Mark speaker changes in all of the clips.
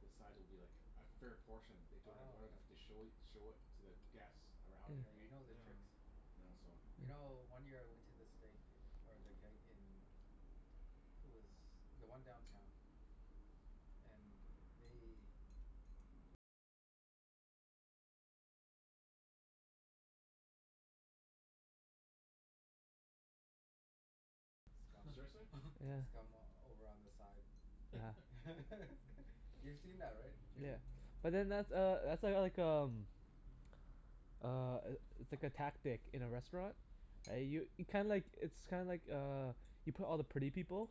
Speaker 1: the sides will be like a fair portion they don't
Speaker 2: Oh,
Speaker 1: don't have
Speaker 2: okay.
Speaker 1: to show it show it to the guests around you,
Speaker 2: Yeah, you
Speaker 1: right?
Speaker 2: know their
Speaker 3: Yeah.
Speaker 2: tricks.
Speaker 4: Yeah.
Speaker 1: Yeah, so
Speaker 2: You know,
Speaker 4: Yeah.
Speaker 2: one year I went to the steak or the Keg in it was the one downtown. And they
Speaker 3: Huh.
Speaker 2: scum
Speaker 1: Seriously?
Speaker 4: Yeah.
Speaker 2: scum over on the side.
Speaker 4: Yeah.
Speaker 2: You've seen that, right Jimmy?
Speaker 4: Yeah. But then that's uh that's uh like um uh, i- it's like a tactic in a restaurant. I
Speaker 2: Yeah.
Speaker 4: u- kinda like, it's kinda like uh you put all the pretty people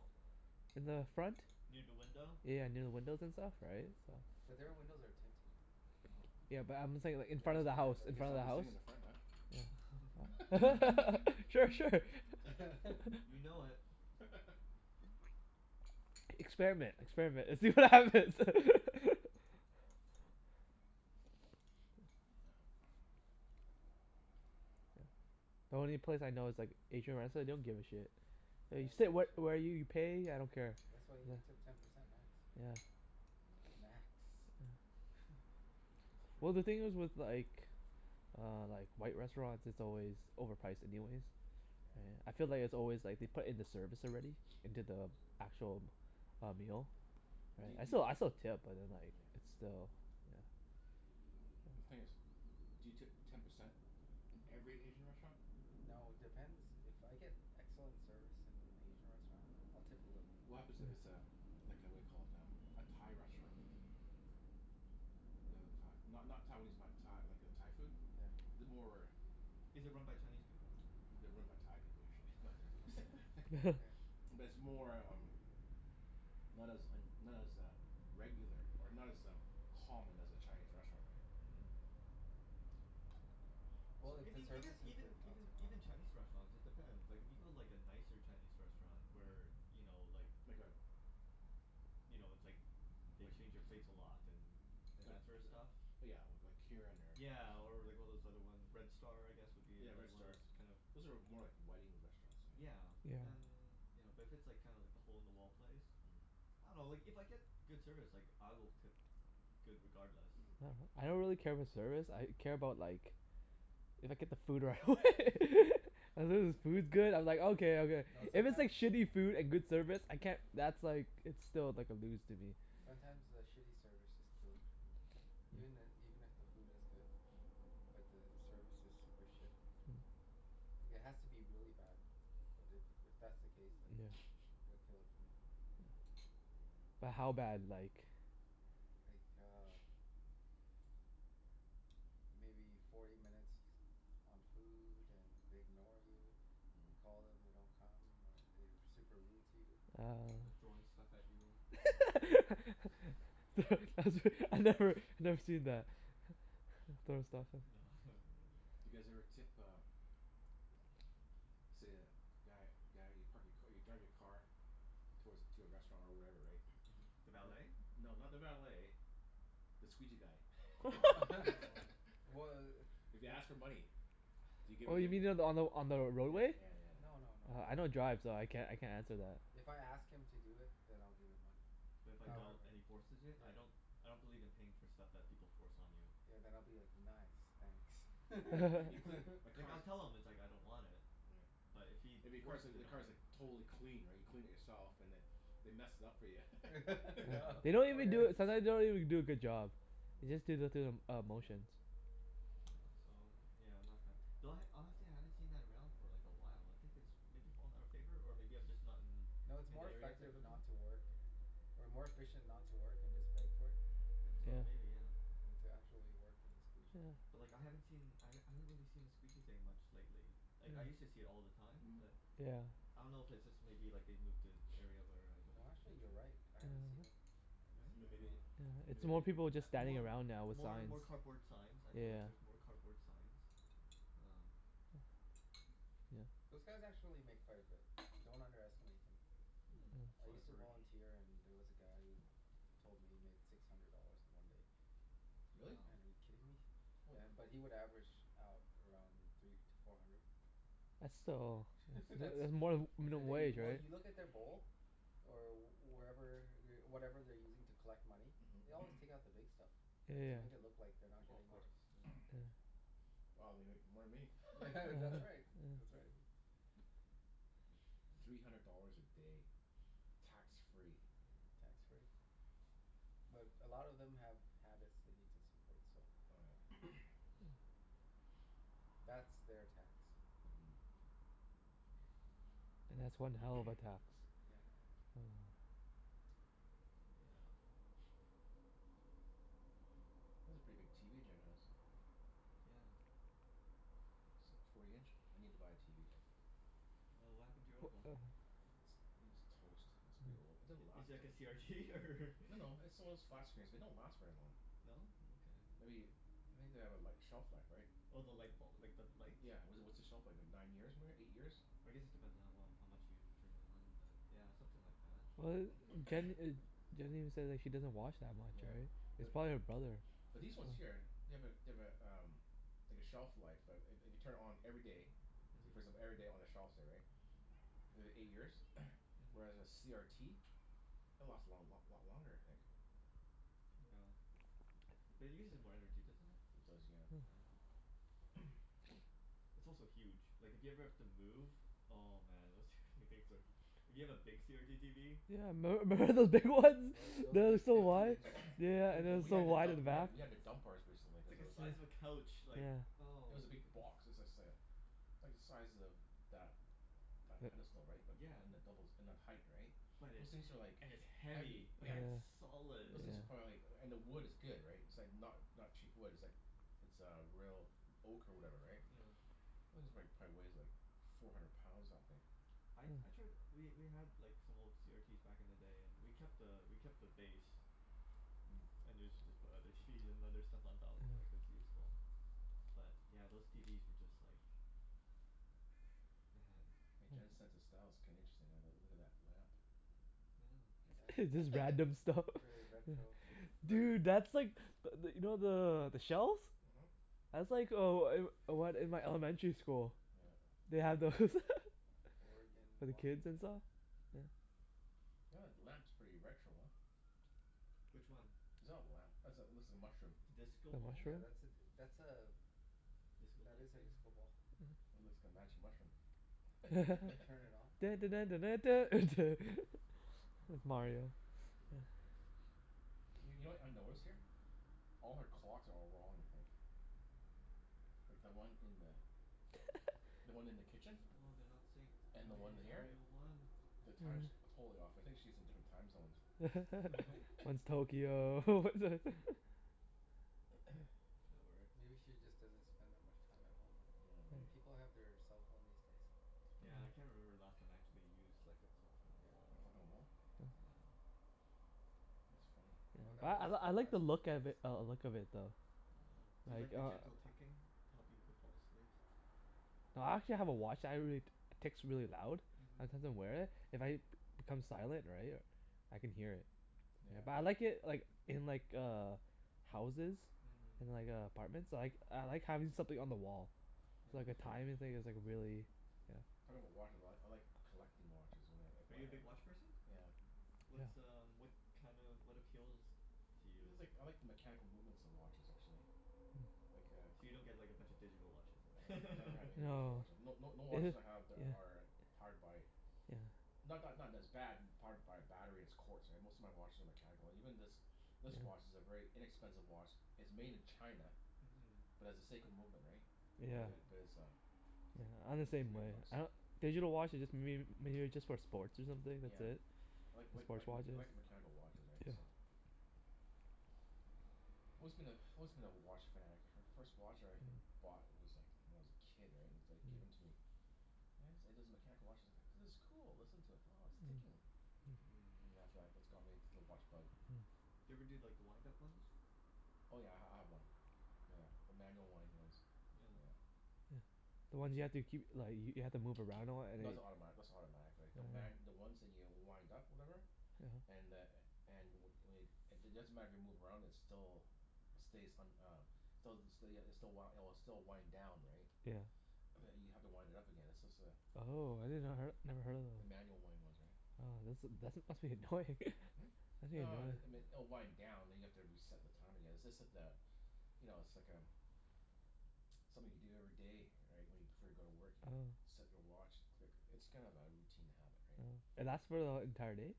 Speaker 4: in the front.
Speaker 3: Near da window?
Speaker 4: Yeah, near the windows and stuff, right? So
Speaker 2: But their windows are tinted and
Speaker 3: Oh.
Speaker 4: Yeah, but I'm saying like in
Speaker 1: I
Speaker 2: Yeah,
Speaker 4: front
Speaker 1: guess
Speaker 4: of the
Speaker 2: oh yeah,
Speaker 4: house.
Speaker 1: I
Speaker 4: In
Speaker 2: that's
Speaker 1: guess
Speaker 2: right
Speaker 4: front
Speaker 1: I'll
Speaker 4: of the
Speaker 1: be sitting
Speaker 4: house.
Speaker 1: in the front then.
Speaker 4: Yeah. Sure. Sure.
Speaker 3: You know it.
Speaker 4: Experiment. Experiment, and see what
Speaker 1: Mm.
Speaker 4: happens.
Speaker 1: Yeah.
Speaker 4: The only place I know is like Asian restr- they don't give a shit.
Speaker 2: Yeah, they
Speaker 4: You
Speaker 2: don't
Speaker 4: sit
Speaker 2: give a
Speaker 4: wh-
Speaker 2: shit.
Speaker 4: where you pay, I don't
Speaker 2: Yeah,
Speaker 4: care.
Speaker 2: that's why you tip
Speaker 4: Yeah.
Speaker 2: ten percent max, right?
Speaker 4: Yeah.
Speaker 1: Not
Speaker 2: Max.
Speaker 4: Yeah.
Speaker 3: That's
Speaker 4: Well
Speaker 3: true.
Speaker 4: the thing is with like uh like, white restaurants, it's always overpriced anyways.
Speaker 2: Yeah.
Speaker 4: Yeah. I feel like it's always like they put in the service already into the actual uh, meal.
Speaker 1: But do
Speaker 4: Right?
Speaker 1: y-
Speaker 4: I
Speaker 1: do
Speaker 4: still I
Speaker 1: y-
Speaker 4: still tip, but then like
Speaker 1: Yeah.
Speaker 4: it's still, yeah.
Speaker 1: The thing is, do you tip ten percent in every Asian restaurant?
Speaker 2: No, it depends. If I get excellent service in an Asian restaurant I'll tip a little bit
Speaker 1: What
Speaker 2: more.
Speaker 1: happens it it's
Speaker 4: Yeah.
Speaker 1: a like a whaddya call it? Um, a Thai restaurant? You know, Thai not not Taiwanese, but Tha- like uh Thai food?
Speaker 2: Yeah.
Speaker 1: The more
Speaker 3: Is it run by Chinese people?
Speaker 1: They're run by Thai people, usually but
Speaker 2: Yeah.
Speaker 1: But it's more um not as un- not as uh regular, or not as um, common as a Chinese restaurant, right?
Speaker 3: Mhm.
Speaker 2: Well,
Speaker 1: So
Speaker 2: if the
Speaker 3: Even even
Speaker 2: service is
Speaker 3: even
Speaker 2: good I'll
Speaker 3: even
Speaker 2: tip more.
Speaker 3: even Chinese restaurants, it depends. Like if you go like
Speaker 2: Yeah.
Speaker 3: a nicer Chinese restaurant where,
Speaker 1: Mhm.
Speaker 3: you know, like
Speaker 1: Like a
Speaker 3: you know, it's like they
Speaker 1: like
Speaker 3: change your plates a lot and and
Speaker 1: Like
Speaker 3: that
Speaker 2: Yeah.
Speaker 3: sorta stuff?
Speaker 1: li- yeah, we- like Kirin or
Speaker 3: Yeah, or like one of those other one, Red Star I guess would be
Speaker 1: Yeah, Red
Speaker 3: another one of
Speaker 1: Star.
Speaker 3: those kinda
Speaker 1: Those are more like wedding restaurants, I think.
Speaker 3: Yeah,
Speaker 4: Yeah.
Speaker 3: then you know, but if it's kinda like the hole in the wall place.
Speaker 1: Mhm.
Speaker 3: I dunno, like if I get good service like I will tip good regardless.
Speaker 4: Yeah. I don't
Speaker 3: Like
Speaker 4: really care about service, I care about like if I get the food right
Speaker 1: Mm.
Speaker 4: away. As long
Speaker 1: Mm.
Speaker 4: as the food's good, I'm like okay, okay.
Speaker 2: No,
Speaker 4: If it's like
Speaker 2: sometimes
Speaker 4: shitty food and good service, I can't that's like, it's still like a lose to me.
Speaker 2: sometimes the
Speaker 3: Mm.
Speaker 2: shitty service just kills it for me. Even i- even if the food is good but the service is super shit.
Speaker 4: Mm.
Speaker 2: It has to be really bad. But if if that's the case then
Speaker 4: Yeah.
Speaker 2: it'd kill it for me.
Speaker 4: But how bad, like?
Speaker 2: Like uh maybe forty minutes on food and they ignore you. You call them, they don't come. Or they're super rude to you.
Speaker 4: Oh.
Speaker 3: They're throwing stuff at you.
Speaker 2: Yeah.
Speaker 1: Mm.
Speaker 4: Thro- that's re- I've never, I've never seen that. Throw stuff off
Speaker 3: No, I haven't really.
Speaker 1: Do you guys ever tip uh let's say a guy guy you park your ca- you drive your car towards a, to a restaurant or wherever, right?
Speaker 3: Mm. The valet?
Speaker 1: And No, not the valet the squeegee guy.
Speaker 3: Oh.
Speaker 2: Wh-
Speaker 1: If he
Speaker 2: i-
Speaker 1: asks for money? Do you give
Speaker 4: Oh
Speaker 1: it y-
Speaker 4: you mean
Speaker 1: y-
Speaker 4: the, on the on the
Speaker 1: Yeah
Speaker 4: roadway?
Speaker 1: yeah yeah yeah.
Speaker 2: No no no, I
Speaker 4: Oh, I
Speaker 2: don't
Speaker 4: don't drive so I can't I can't answer that.
Speaker 2: If I ask him to do it then I'll give him money.
Speaker 3: But if I don't
Speaker 2: However
Speaker 4: Yeah.
Speaker 3: and he forces it?
Speaker 2: Yeah.
Speaker 3: I don't I don't believe in paying for stuff that people force on you.
Speaker 2: Yeah, then I'll be like, "Nice, thanks."
Speaker 1: Right. You've clea- my
Speaker 3: Like I'll
Speaker 1: car's
Speaker 3: tell him it's like I don't want it.
Speaker 1: Yeah.
Speaker 3: But if he
Speaker 1: If your car's
Speaker 3: forces
Speaker 1: like,
Speaker 3: it
Speaker 1: the
Speaker 3: on me
Speaker 1: car's like totally clean right? You cleaned it yourself and then they mess it up for ya.
Speaker 4: Yeah.
Speaker 3: Yeah.
Speaker 4: They don't even do a, sometimes they don't even do a good job. They just do the through the uh
Speaker 2: Yeah.
Speaker 4: motions.
Speaker 3: Yeah, so I'm yeah, I'm not a fan.
Speaker 1: Mm.
Speaker 3: Though I, honestly I haven't seen that around for like a while. I think it's maybe fallen out of favor? Or maybe I'm just not in
Speaker 2: No, it's
Speaker 3: in
Speaker 2: more
Speaker 3: the areas I
Speaker 2: effective
Speaker 3: go to?
Speaker 2: not to work or more efficient not to work and just beg for it, yeah than
Speaker 3: Oh,
Speaker 4: Yeah.
Speaker 3: maybe, yeah.
Speaker 2: than to actually work and squeegee.
Speaker 4: Yeah.
Speaker 3: But like I haven't seen I
Speaker 1: Mhm.
Speaker 3: h- I haven't really seen the squeegee thing much lately. Like, I used to see it all the time, but
Speaker 4: Yeah. Yeah.
Speaker 3: I don't know if it's just maybe like they've moved to
Speaker 1: Mhm.
Speaker 3: area where I don't
Speaker 2: No actually, you're
Speaker 3: venture.
Speaker 2: right. I haven't seen
Speaker 4: Yeah.
Speaker 2: it. I haven't
Speaker 3: Right?
Speaker 2: seen
Speaker 1: Then
Speaker 2: it in a
Speaker 1: maybe,
Speaker 2: while.
Speaker 4: Yeah. It's
Speaker 1: maybe they
Speaker 4: more people
Speaker 3: A
Speaker 4: just standing
Speaker 3: more
Speaker 4: around now with
Speaker 3: more
Speaker 4: signs.
Speaker 3: more cardboard signs. I
Speaker 4: Yeah
Speaker 3: feel
Speaker 4: yeah
Speaker 3: like
Speaker 4: yeah.
Speaker 3: there's more cardboard signs. Um
Speaker 4: Yeah.
Speaker 2: Those guys actually make quite a bit. Don't underestimate them.
Speaker 3: Mm,
Speaker 2: I
Speaker 4: Mm.
Speaker 3: so I've
Speaker 2: used
Speaker 1: Mm.
Speaker 2: to
Speaker 3: heard.
Speaker 2: volunteer and there was a guy who told me he made six hundred dollars in one day. Like, oh
Speaker 1: Really?
Speaker 3: Wow.
Speaker 2: man, are you kidding me?
Speaker 1: Holy.
Speaker 2: Yeah, but he would average out around three to four hundred.
Speaker 4: That's still, it's
Speaker 2: That's
Speaker 4: it's more than
Speaker 2: that's in a
Speaker 4: minimum
Speaker 2: day.
Speaker 4: wage,
Speaker 2: Well,
Speaker 4: right?
Speaker 2: you look in their bowl or wherever whatever they're using to collect money. They always take out the
Speaker 3: Mm.
Speaker 2: big stuff,
Speaker 4: Yeah
Speaker 2: right?
Speaker 4: yeah
Speaker 2: To make it look
Speaker 4: yeah.
Speaker 2: like they're not
Speaker 3: Oh, of
Speaker 2: getting much.
Speaker 3: course. Yeah.
Speaker 4: Yeah.
Speaker 1: Mhm. Wow, they make more than me.
Speaker 2: Yeah,
Speaker 4: Yeah.
Speaker 2: that's right. That's right.
Speaker 1: Three hundred dollars a day. Tax free.
Speaker 2: Tax free. But a lot of them have habits they need to support, so
Speaker 1: Oh yeah.
Speaker 2: that's
Speaker 3: Yeah.
Speaker 2: their tax.
Speaker 1: Mm.
Speaker 4: And
Speaker 1: Hmm.
Speaker 4: that's one hell of a tax.
Speaker 2: Yeah.
Speaker 4: Oh.
Speaker 3: Yeah.
Speaker 1: That's a pretty big TV Jen has.
Speaker 3: Yeah.
Speaker 1: That's like forty inch? I need to buy a TV, so
Speaker 3: Oh, what happened to your old one?
Speaker 4: Wh- uh
Speaker 1: It's, I think it's toast. It's pretty old.
Speaker 4: Mm.
Speaker 1: It didn't
Speaker 3: I- is
Speaker 1: last
Speaker 3: it like
Speaker 1: v-
Speaker 3: a CRT, or
Speaker 1: No no, it's the one of those flat screens, they don't last very long.
Speaker 3: No? Okay.
Speaker 1: Maybe, I think they have a li- shelf life, right?
Speaker 3: Oh, the lightbul- like, the light?
Speaker 1: Yeah, w- what's the shelf life, like nine years ma- eight years?
Speaker 3: I guess it depends on how well, how much you turn it on but yeah, something like that.
Speaker 4: Well a m- Jen e- Jen even says like she doesn't watch that much,
Speaker 1: Yeah,
Speaker 4: right? It's
Speaker 1: but
Speaker 4: probably her brother.
Speaker 1: But these ones
Speaker 4: Yeah.
Speaker 1: here, they have a they have a um like a shelf life. I- i- if you turn it on every day so you first them
Speaker 3: Mhm.
Speaker 1: every day on a shelf, say, right? If it eight years?
Speaker 3: Mhm.
Speaker 1: Whereas a CRT it'll last a long lot lot longer I think.
Speaker 3: Yeah. But it uses more energy, doesn't it?
Speaker 1: It does,
Speaker 4: Huh.
Speaker 3: Yeah.
Speaker 1: yeah.
Speaker 3: It's also huge. Like, if you ever have to move oh man, those tw- things are hu- If you have a big CRT TV.
Speaker 4: Yeah, memb- member those big ones?
Speaker 2: Mm. Th- those
Speaker 4: They were
Speaker 2: big
Speaker 4: so
Speaker 2: fifty
Speaker 4: wide.
Speaker 2: inch ones?
Speaker 4: Yeah yeah yeah,
Speaker 3: They're
Speaker 4: and it
Speaker 1: Well,
Speaker 4: was
Speaker 1: we
Speaker 4: so
Speaker 1: had to
Speaker 3: huge.
Speaker 4: wide
Speaker 1: dump,
Speaker 4: in the
Speaker 1: we had
Speaker 4: back.
Speaker 1: t- we had to
Speaker 2: Yeah.
Speaker 1: dump ours recently,
Speaker 3: It's
Speaker 1: cuz
Speaker 3: like
Speaker 1: it
Speaker 3: a
Speaker 1: was
Speaker 3: size of a couch. Like,
Speaker 4: Yeah.
Speaker 1: It
Speaker 3: oh
Speaker 1: was a big
Speaker 3: goodness.
Speaker 1: box. It was like say a like the size of that that
Speaker 4: Yep.
Speaker 1: pedestal, right? But,
Speaker 3: Yeah.
Speaker 1: and the doubles and then height, right?
Speaker 3: But
Speaker 1: Those
Speaker 3: it's he-
Speaker 1: things are like
Speaker 3: and it's
Speaker 1: heavy.
Speaker 3: heavy.
Speaker 4: Yeah.
Speaker 3: Like
Speaker 1: Yeah.
Speaker 3: it's solid.
Speaker 1: Those things are
Speaker 4: Yeah.
Speaker 1: probably like, and the wood is good, right? It's It's like not not cheap wood. It's like It's uh real oak or whatever, right?
Speaker 3: Yeah.
Speaker 1: This is like, probably weighs like four hundred pounds, that thing.
Speaker 3: I
Speaker 4: Mm.
Speaker 3: I tried, we we had like some old CRTs back in the day and we kept a we kept the base.
Speaker 1: Mm.
Speaker 3: And usually just put other TVs and other stuff on top. Like, it's
Speaker 4: Yeah.
Speaker 3: useful. But yeah, those TVs were just like man.
Speaker 1: Hey,
Speaker 4: Yeah.
Speaker 1: Jen's sense of style's kinda interesting. I uh look at that lamp.
Speaker 3: Yeah.
Speaker 4: It's
Speaker 2: Yeah.
Speaker 4: just random stuff.
Speaker 2: Very
Speaker 4: Yeah.
Speaker 2: retro, hey?
Speaker 3: Th-
Speaker 1: Very
Speaker 4: Dude, that's like but th- you know the the shells?
Speaker 1: Mhm.
Speaker 4: That's like oh I'm one in my elementary school.
Speaker 1: Yeah uh
Speaker 4: They had those.
Speaker 3: Aw.
Speaker 2: Oregon,
Speaker 4: For the kids and
Speaker 2: Washington.
Speaker 4: saw? Yeah.
Speaker 1: Yeah that lamp's pretty retro, huh?
Speaker 3: Which one?
Speaker 1: Is that a lamp? That's a, looks like a mushroom.
Speaker 3: The disco
Speaker 4: The
Speaker 3: ball?
Speaker 2: Yeah,
Speaker 4: mushroom?
Speaker 2: that's a d- that's a
Speaker 3: Disco
Speaker 2: that
Speaker 3: light
Speaker 2: is a
Speaker 3: thing?
Speaker 2: disco ball.
Speaker 4: Mhm.
Speaker 1: It looks like a magic mushroom.
Speaker 2: Yeah. Turn it on?
Speaker 4: Dun dun dun dun dun duh, duh. It's
Speaker 3: Oh, man.
Speaker 4: Mario, yeah.
Speaker 1: Y- you know what I notice here? All her clocks are all wrong, I think. Like, the one in the the one in the kitchen?
Speaker 3: Oh, they're not synced.
Speaker 1: And
Speaker 3: Which
Speaker 1: the
Speaker 2: Oh yeah,
Speaker 1: one
Speaker 3: one's
Speaker 1: th-
Speaker 2: you're
Speaker 3: the
Speaker 1: here?
Speaker 2: right.
Speaker 3: real one?
Speaker 1: The time's
Speaker 4: Mm.
Speaker 1: totally off. I think she's in different time zones.
Speaker 4: One's Tokyo, one's a
Speaker 3: That works.
Speaker 2: Maybe she just doesn't spend that much time at home, right?
Speaker 1: Yeah, maybe.
Speaker 2: And people have their cell phone these days.
Speaker 3: Yeah, I can't remember the last time I actually used like a clock on a
Speaker 2: Yeah.
Speaker 1: A
Speaker 3: wall.
Speaker 1: clock on the wall?
Speaker 3: Yeah.
Speaker 1: That's funny.
Speaker 2: Oh, that
Speaker 4: Yeah. I
Speaker 2: was
Speaker 4: l-
Speaker 2: the
Speaker 4: I like
Speaker 2: high
Speaker 4: the
Speaker 2: school
Speaker 4: look of
Speaker 2: days.
Speaker 4: i- uh look of it though.
Speaker 3: uh-huh. Do you
Speaker 4: Like,
Speaker 3: like the
Speaker 4: uh
Speaker 3: gentle ticking to help you go fall asleep?
Speaker 4: I actually have a watch that I really, t- ticks really loud.
Speaker 3: Mhm.
Speaker 4: Sometimes I wear it. If I b- become silent, right? I can hear it.
Speaker 1: Yeah,
Speaker 4: But I
Speaker 1: but
Speaker 4: like it like in like uh houses.
Speaker 3: Mhm.
Speaker 4: In like uh apartments. I like I like having something on the wall.
Speaker 3: Yeah,
Speaker 4: So
Speaker 2: Oh.
Speaker 4: like a
Speaker 3: that's true.
Speaker 4: timing thing is like really Yeah.
Speaker 1: Talking about watches a lot. I like collecting watches oh wh- if
Speaker 3: Are
Speaker 1: I
Speaker 3: you a big
Speaker 1: h-
Speaker 3: watch person?
Speaker 1: Yeah.
Speaker 3: What's um what kind of, what appeals to
Speaker 1: It's
Speaker 3: you?
Speaker 1: like, I like the mechanical movements of watches, actually. Like a
Speaker 3: So you don't get like a bunch of digital watches
Speaker 1: I
Speaker 3: then?
Speaker 1: have never have any digital
Speaker 4: No.
Speaker 1: watches. No no no
Speaker 4: Yeah.
Speaker 1: watches I have there are powered by
Speaker 4: Yeah.
Speaker 1: Not not not that it's bad powered by a battery it's quartz Most of my watches are mechanical. Even this this watch is a very inexpensive watch it's made in China
Speaker 3: Mhm.
Speaker 1: but has a Seiko movement, right? But
Speaker 4: Yeah.
Speaker 3: Okay.
Speaker 1: it, but it's a it's
Speaker 4: Yeah, I'm the
Speaker 1: like three
Speaker 4: same
Speaker 1: hundred
Speaker 4: way.
Speaker 1: bucks.
Speaker 4: I don- Digital watches just mayb- maybe just for sports or something. That's
Speaker 1: Yeah.
Speaker 4: it.
Speaker 1: Like like
Speaker 4: Sports
Speaker 1: like mech-
Speaker 4: watches.
Speaker 1: like a mechanical watches, right?
Speaker 4: Yeah.
Speaker 1: So Always been a, always been a watch fanatic. My first watch I h- bought was like when I was a kid, right? And it's like given to me. And it's it is mechanical watch as I go, "This is cool. Listen to it. Oh, it's ticking."
Speaker 3: Mm.
Speaker 1: And after that that's got me into the watch bug.
Speaker 3: Do you ever do like the wind-up ones?
Speaker 1: Oh yeah, I h- I have one. Yeah. A manual wind ones.
Speaker 3: Yeah.
Speaker 1: Yeah.
Speaker 4: Yeah, the ones you have to keep li- y- you have to
Speaker 1: K-
Speaker 4: move
Speaker 1: kee-
Speaker 4: around a lot and
Speaker 1: no
Speaker 4: like
Speaker 1: that's automatic, that's not automatic, right? The ma- the ones that you wind up, whatever?
Speaker 4: Yeah huh.
Speaker 1: And the a- and w- wade it doesn't matter if you move around it's still stays un- uh Stelz the still ya it's the w- it'll still wind down, right?
Speaker 4: Yeah.
Speaker 1: But you have to wind it up again, it's just a
Speaker 4: Oh, I did not her- never heard of
Speaker 1: the
Speaker 4: them.
Speaker 1: manual wind ones, right?
Speaker 4: Oh, that's a that's must be annoying.
Speaker 1: Hmm?
Speaker 4: Must be
Speaker 1: No
Speaker 4: annoying.
Speaker 1: it it m- oh wind down and you have to reset the time again. It's just that uh You know, it's like um something you do every day, right? When you, before you go to work, you
Speaker 4: Oh.
Speaker 1: set your watch. Click. It's kind of a routine habit, right?
Speaker 4: Oh. And that's for the e- entire day?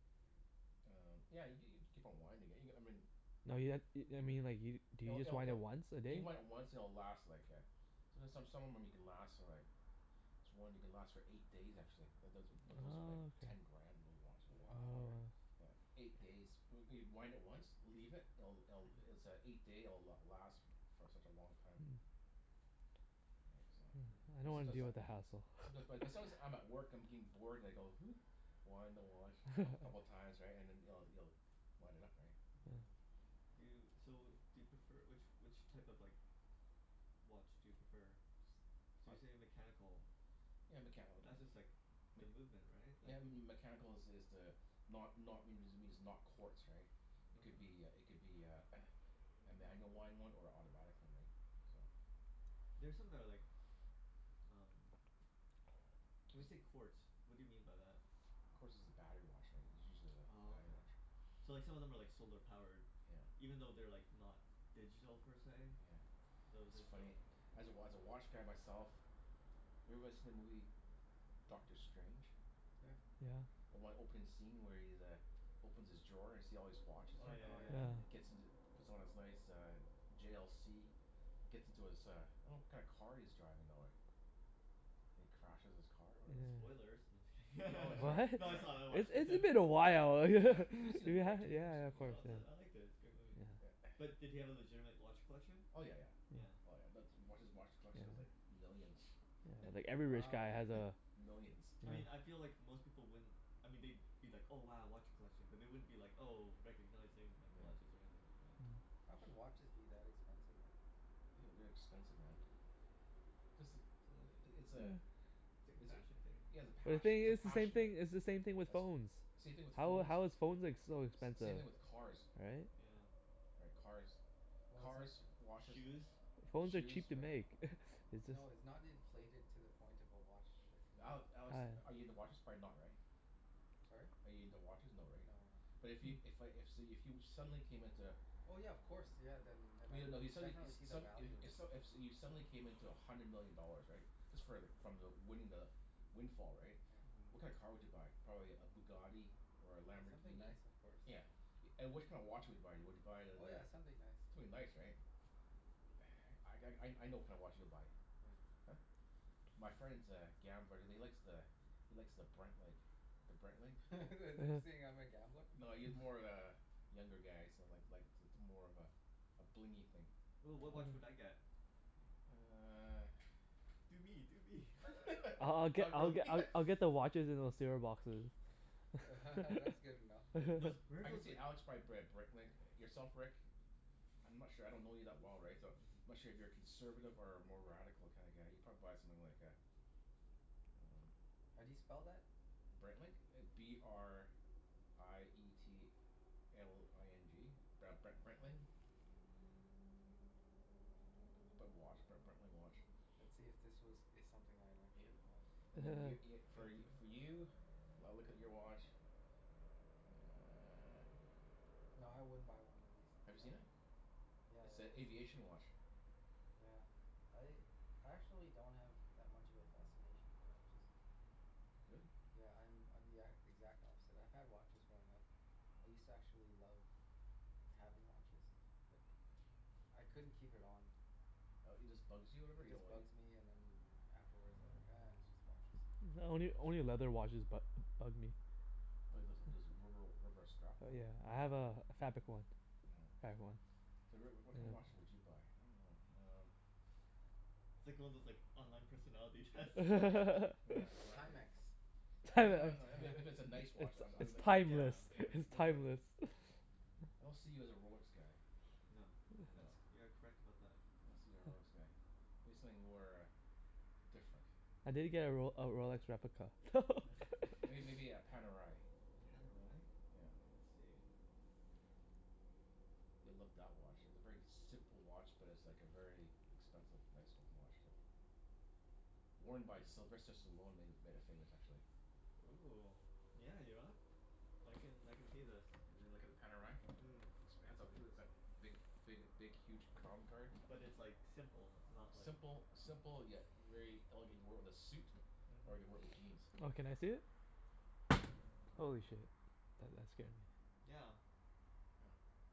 Speaker 1: Um, yeah y- g- you keep on winding it, you g- I mean
Speaker 4: No you ha- i- I mean like you do you
Speaker 1: It'll
Speaker 4: just
Speaker 1: it'll
Speaker 4: wind
Speaker 1: it'll
Speaker 4: it once a
Speaker 1: You
Speaker 4: day?
Speaker 1: might once and it'll last like a there's some, some of them you can last for like this one you can last for eight days, actually. It doesn't but those are like
Speaker 4: Oh,
Speaker 1: ten
Speaker 4: okay.
Speaker 3: Yeah.
Speaker 1: grand, those watches, right?
Speaker 2: Wow, right?
Speaker 4: Oh.
Speaker 1: Yeah, eight days. When y- wind it once Leave it. It'll it'll it's a eight day it'll last for such a long time.
Speaker 4: Mm.
Speaker 1: Right? So
Speaker 4: Mm. I
Speaker 3: Um
Speaker 1: But
Speaker 4: don't wanna
Speaker 1: sometimes
Speaker 4: deal
Speaker 1: that
Speaker 4: with the hassle.
Speaker 1: Someti- but sometimes I'm at work, I'm getting bored, and I go Wind the watch coup- couple of times, right? And then you'll you'll wind it up, right?
Speaker 3: Yeah. Do you,
Speaker 1: Yeah.
Speaker 3: so do you prefer, which which type of like watch do you prefer? So
Speaker 1: I
Speaker 3: you say mechanical.
Speaker 1: Yeah, mechani- like
Speaker 3: That's
Speaker 1: mm
Speaker 3: just like the
Speaker 1: mech-
Speaker 3: movement, right?
Speaker 1: Yeah,
Speaker 3: Like
Speaker 1: m- m- m- mechanical is is the not not means it means not quartz, right? It could be a
Speaker 3: Okay.
Speaker 1: it could be a a manual wind one or a autobatic one, right? So
Speaker 3: There's something that I like um When you
Speaker 1: Tis-
Speaker 3: say quartz, what do you mean by that?
Speaker 1: Quartz is a battery watch, right? It's usually the
Speaker 3: Oh,
Speaker 1: battery
Speaker 3: okay.
Speaker 1: watch.
Speaker 3: So, like some of them are like solar powered?
Speaker 1: Yeah.
Speaker 3: Even though they're like not digital, per se?
Speaker 1: Yeah.
Speaker 3: Those
Speaker 1: It's
Speaker 3: are
Speaker 1: funny.
Speaker 3: still
Speaker 1: As a wa- as a watch guy myself Have you ever watched them Lee Dr. Strange?
Speaker 2: Yeah.
Speaker 4: Yeah.
Speaker 1: The one opening scene where he's uh opens his drawer and you see all these watches
Speaker 3: Oh, yeah
Speaker 1: there?
Speaker 2: Oh
Speaker 3: yeah
Speaker 2: yeah.
Speaker 3: yeah.
Speaker 1: And it
Speaker 4: Yeah.
Speaker 1: gets into puts on his nice uh J l c gets into his uh I don't know what kind of car he's driving though, eh? And he crashes his car or whatever.
Speaker 4: Yeah.
Speaker 3: Spoilers. No, just
Speaker 1: Oh, wait,
Speaker 3: kidding.
Speaker 1: sorry.
Speaker 4: What?
Speaker 3: No,
Speaker 1: Sorry.
Speaker 3: it's all, I
Speaker 4: It's
Speaker 3: watched it.
Speaker 4: it's been a while.
Speaker 1: Yeah. You've seen the
Speaker 4: Yeah,
Speaker 1: movie,
Speaker 4: yeah
Speaker 1: right Jimmy? You s-
Speaker 4: yeah of
Speaker 1: yeah.
Speaker 4: course,
Speaker 3: No, it's a, I
Speaker 4: yeah.
Speaker 3: liked it. It's a good movie.
Speaker 1: Yeah.
Speaker 4: Yeah.
Speaker 3: But did he have a legitimate watch collection?
Speaker 1: Oh, yeah yeah.
Speaker 4: Yeah.
Speaker 3: Yeah.
Speaker 1: Oh yeah. That's watch, his watch collection is like millions.
Speaker 4: Yeah. Yeah, like every rich guy
Speaker 2: Wow.
Speaker 4: has a
Speaker 1: Millions.
Speaker 3: I mean I feel
Speaker 4: Yeah.
Speaker 3: like
Speaker 2: Wow.
Speaker 3: most people wouldn't I mean they'd be like, "Oh, wow, watch collection." But they wouldn't be like, oh, recognizing like
Speaker 1: Yeah.
Speaker 3: watches or anything like that.
Speaker 4: Mm.
Speaker 2: How can watches be that expensive, right?
Speaker 1: Ooh, they're expensive, man. Just the i- i- it's a
Speaker 3: It's like a
Speaker 1: is it
Speaker 3: fashion thing,
Speaker 1: yeah, it's a
Speaker 4: But the
Speaker 3: maybe?
Speaker 1: pash-
Speaker 4: thing
Speaker 1: it's a
Speaker 4: is, it's the same
Speaker 1: passion, right?
Speaker 4: thing, it's the same thing with
Speaker 1: That's
Speaker 4: phones.
Speaker 1: same thing with
Speaker 4: How
Speaker 1: phones.
Speaker 4: how is phones ex- so
Speaker 1: S- same
Speaker 4: expensive?
Speaker 1: thing with cars.
Speaker 4: Right?
Speaker 3: Yeah.
Speaker 1: Right.
Speaker 2: W-
Speaker 1: Cars.
Speaker 2: Well, it's no-
Speaker 1: Cars, watches
Speaker 3: Shoes.
Speaker 4: Phones are
Speaker 1: shoes,
Speaker 4: cheap to
Speaker 1: right.
Speaker 4: make. It's just
Speaker 2: No, it's not inflated to the point of a watch that can be
Speaker 1: Ale- Alex,
Speaker 4: I
Speaker 1: are you
Speaker 2: um
Speaker 1: into watches? Probably not, right?
Speaker 2: Sorry?
Speaker 1: Are you into watches? No, right?
Speaker 2: No, no.
Speaker 1: But if yo- if I if so you if you suddenly came into
Speaker 2: Oh yeah, of course. Yeah, then then
Speaker 1: But
Speaker 2: I'd
Speaker 1: you no if you suddenly e-
Speaker 2: definitely see
Speaker 1: s-
Speaker 2: the
Speaker 1: some
Speaker 2: value
Speaker 1: i-
Speaker 2: in
Speaker 1: if
Speaker 2: it.
Speaker 1: s- if you suddenly came into a hundred million dollars, right? Just for like from the winning the windfall, right?
Speaker 2: Yeah.
Speaker 1: What
Speaker 3: Mhm.
Speaker 1: kinda car would you buy? Probably a Bugatti? Or a
Speaker 2: Yeah, something
Speaker 1: Lamborghini?
Speaker 2: nice of course.
Speaker 1: Yeah. And which kind of watch would you buy? Would you buy the
Speaker 2: Oh
Speaker 1: the
Speaker 2: yeah, something nice,
Speaker 1: Something
Speaker 2: yeah.
Speaker 1: nice, right? I g- I I know what kinda watch you'll buy.
Speaker 2: What?
Speaker 1: Huh? My friend's a gambler and he likes the he likes the Breitling. The Breitling. Oh.
Speaker 2: Are you saying
Speaker 4: uh-huh.
Speaker 2: I'm a gambler?
Speaker 1: No, he's more of a younger guy, so like like it's it's more of a a blingy thing.
Speaker 3: Ooh, what
Speaker 2: Oh
Speaker 3: watch would I
Speaker 2: yeah.
Speaker 3: get?
Speaker 1: You uh
Speaker 3: Do me! Do me!
Speaker 4: I I I'll get
Speaker 1: Not
Speaker 4: I'll
Speaker 1: really.
Speaker 4: get I I'll get the watches in those c r boxes.
Speaker 2: That's good enough for
Speaker 1: Uh,
Speaker 2: me.
Speaker 3: Those, where are
Speaker 1: I could
Speaker 3: those
Speaker 1: see
Speaker 3: like
Speaker 1: Alex buy a Br- Breitling. Yourself Rick? I'm not sure. I don't know you that well, right? So I'm
Speaker 3: Mhm.
Speaker 1: not sure if you're a conservative or a more radical kinda guy. You'd probably buy something like a Um
Speaker 2: How do you spell that?
Speaker 1: Breitling? B r i e t l i n g Br- Bre- Breitling. P- put watch, B- Breitling watch.
Speaker 2: Let's see if this was is something I'd
Speaker 1: Yeah.
Speaker 2: actually buy.
Speaker 1: And
Speaker 3: Okay.
Speaker 1: then y- y-
Speaker 3: Go
Speaker 1: for
Speaker 3: ahead,
Speaker 1: y- for
Speaker 3: do
Speaker 1: you? I'll look at your watch Ah
Speaker 2: Nah, I wouldn't buy one of these.
Speaker 1: Have you seen
Speaker 2: Sorry.
Speaker 1: it?
Speaker 2: Yeah,
Speaker 1: It's
Speaker 2: yeah.
Speaker 1: a
Speaker 2: The same
Speaker 1: aviation
Speaker 2: features.
Speaker 1: watch.
Speaker 2: Yeah. I I actually don't have that much of a fascination for watches.
Speaker 1: Really?
Speaker 2: Yeah, I'm I'm the e- exact opposite. I've had watches growing up. I used to actually love having watches. But I couldn't keep it on.
Speaker 1: Uh it just bugs you or
Speaker 2: Yeah,
Speaker 1: whatever?
Speaker 2: it
Speaker 1: You don't
Speaker 2: just
Speaker 1: like it?
Speaker 2: bugs me and then afterwards I'm like
Speaker 1: Oh.
Speaker 2: "Ah, it's just watches."
Speaker 4: Only only leather watches bu- bug me.
Speaker 1: Well there's there's rubber rubber strap
Speaker 4: Oh
Speaker 1: one.
Speaker 4: yeah, I have a a fabric one.
Speaker 1: Nyeah.
Speaker 4: Fabric one.
Speaker 1: So Rick, w- what kind of watch
Speaker 4: Yeah.
Speaker 1: would you buy? I dunno. Um
Speaker 3: It's like one of those like online personality tests.
Speaker 1: Yeah, exactly.
Speaker 2: Timex. You'd buy a
Speaker 1: No, no, I mean if it
Speaker 2: Time-
Speaker 1: if it's a nice
Speaker 4: It's
Speaker 1: watch I'd b- I'd
Speaker 4: it's
Speaker 1: be like
Speaker 3: Yeah,
Speaker 4: timeless.
Speaker 3: I
Speaker 1: Yeah,
Speaker 3: mean
Speaker 1: like
Speaker 4: It's
Speaker 1: look at
Speaker 4: timeless.
Speaker 1: I don't see you as a Rolex guy.
Speaker 3: No. That's,
Speaker 1: No.
Speaker 3: you are correct about that.
Speaker 1: I don't see you a Rolex guy. Maybe something more uh different.
Speaker 4: I did get a Rol- a Rolex replica.
Speaker 1: Are you
Speaker 3: It
Speaker 1: maybe a Panerai?
Speaker 3: Pan o rye?
Speaker 1: Yeah.
Speaker 3: Okay, let's see.
Speaker 1: You'll love that watch. It's a very simple watch, but it's like a very expensive, nice looking watch, too. Worn by Sylvester
Speaker 3: Panerai.
Speaker 1: Stallone made it made it famous, actually.
Speaker 3: Ooh, yeah, you know what? I can I can see this.
Speaker 1: You l- look at the Panerai?
Speaker 3: Mm.
Speaker 1: Looks pants off it'll is that big big big huge crown card.
Speaker 3: But it's like simple, it's not like
Speaker 1: Simple simple yet very elegant. He wore it with a suit. Or you could wear
Speaker 3: Mhm.
Speaker 1: it with jeans.
Speaker 4: Oh, can I see it?
Speaker 1: Ooh.
Speaker 4: Holy shit, that that scared me.
Speaker 3: Yeah.
Speaker 1: Yeah.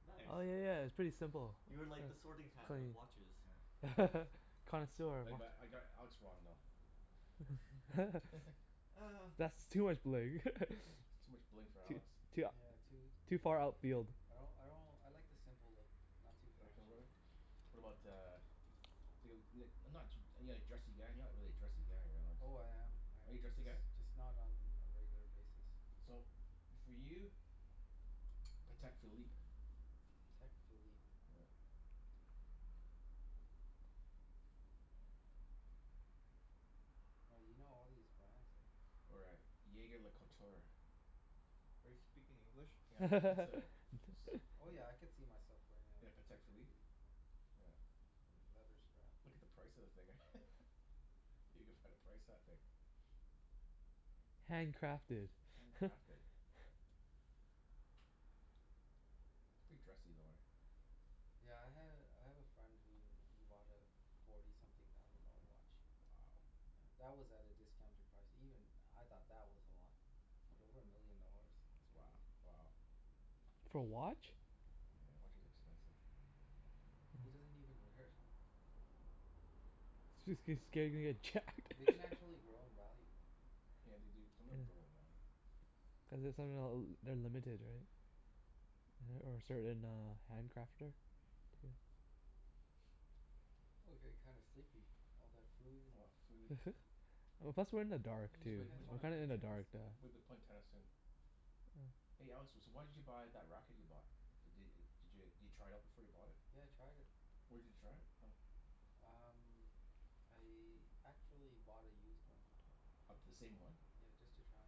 Speaker 3: Nice.
Speaker 4: Oh yeah yeah, it's pretty simple.
Speaker 3: You are like the sorting
Speaker 4: Huh.
Speaker 3: hat of
Speaker 4: Clean.
Speaker 3: watches.
Speaker 1: Yeah.
Speaker 4: Connoisseur of
Speaker 1: Like
Speaker 4: what?
Speaker 1: but I got Alex wrong, though.
Speaker 3: Ah
Speaker 4: That's too much bling.
Speaker 1: Too much bling for
Speaker 4: Too
Speaker 1: Alex.
Speaker 4: too
Speaker 2: Yeah, too
Speaker 4: ou- too far outfield
Speaker 2: I don't, I don't, I like the simple look. Not too
Speaker 1: You like
Speaker 2: flashy.
Speaker 1: simple What about
Speaker 2: Yeah.
Speaker 1: uh Feel it n- not too are you like dressy guy? You're not really a dressy guy, right Alex?
Speaker 2: Oh, I am I
Speaker 1: Are you
Speaker 2: am.
Speaker 1: dressy
Speaker 2: Just
Speaker 1: guy?
Speaker 2: just not on a regular basis.
Speaker 1: So, for you Patek Philippe.
Speaker 2: Patek Philippe.
Speaker 1: Yeah.
Speaker 2: Oh, you know all these brands, eh?
Speaker 1: Or a jaeger-lecoultre.
Speaker 3: Are you speaking English?
Speaker 1: Yeah. It's a it's
Speaker 2: Oh yeah, I
Speaker 1: a
Speaker 2: could see myself wearing
Speaker 1: In a
Speaker 2: a
Speaker 1: Patek
Speaker 2: Patek
Speaker 1: Philippe?
Speaker 2: Philippe, yeah.
Speaker 1: Yeah.
Speaker 2: Yeah, leather strap.
Speaker 1: Look at the price of the thing. You can find a price of that thing.
Speaker 4: Hand crafted.
Speaker 1: Hand crafted. Pretty dressy though, eh?
Speaker 2: Yeah, I had a, I have a friend who who bought a forty something thousand dollar watch.
Speaker 1: Wow.
Speaker 2: Yeah. That was at a discounted price. Even I thought that was a lot. But over a million dollars? That's
Speaker 1: Wo-
Speaker 2: crazy.
Speaker 1: wow.
Speaker 4: For a watch?
Speaker 2: Yeah.
Speaker 1: Yeah, watch is expensive.
Speaker 2: He
Speaker 4: Mm.
Speaker 2: doesn't even wear it.
Speaker 4: Jus- cuz scared he's gonna get jacked.
Speaker 2: They can actually grow in value, though.
Speaker 1: Yeah, they do, some of them
Speaker 4: Yeah.
Speaker 1: grow in value.
Speaker 4: Cuz it somehow l- they're limited, right? Right? Or a certain uh hand crafter?
Speaker 1: Yeah.
Speaker 2: Oh, I'm getting kind of sleepy. All that food and
Speaker 1: All that food.
Speaker 4: Well, plus we're in the dark,
Speaker 1: We
Speaker 2: Sure
Speaker 1: should
Speaker 4: too.
Speaker 2: you
Speaker 1: play,
Speaker 2: guys
Speaker 1: we should,
Speaker 4: We're
Speaker 1: w-
Speaker 2: wanna
Speaker 4: kinda
Speaker 2: play
Speaker 4: in the
Speaker 2: tennis?
Speaker 4: dark duh
Speaker 1: w- we be playing tennis soon.
Speaker 4: Oh.
Speaker 1: Hey Alex, s- so why did you buy that racket you bought? D- d- did you try it out before you bought it?
Speaker 2: Yeah, I tried it.
Speaker 1: Where did you try it from?
Speaker 2: Um, I actually bought a used one.
Speaker 1: Of the same one?
Speaker 2: Yeah, just to try.